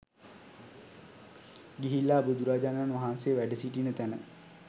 ගිහිල්ලා බුදුරජාණන් වහන්සේ වැඩසිටින තැන